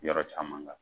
Yɔrɔ caman kan